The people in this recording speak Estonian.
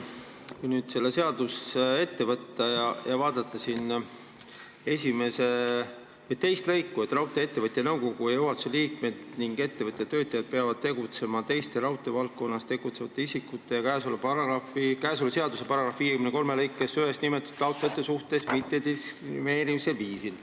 Kui nüüd see seadus ette võtta ja vaadata esimest lõiku, siis siin on öeldud, et raudtee-ettevõtja nõukogu ja juhatuse liikmed ning ettevõtja töötajad peavad tegutsema teiste raudteevaldkonnas tegutsevate isikute ja käesoleva seaduse § 53 lõikes 1 nimetatud taotlejate suhtes mittediskrimineerival viisil.